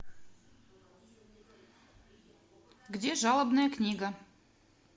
где жалобная книга